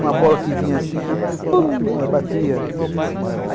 Uma bola que vinha assim, aí pum, aí batia.